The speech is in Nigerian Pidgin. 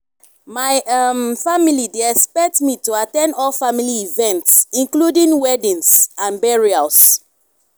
my um family dey expect me to at ten d all family events including weddings and burials.